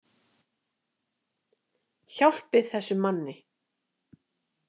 Hjálpið þessum manni.